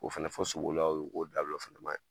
O fana fɔ sobolilaw ye o k'o dabila o fana man ɲi.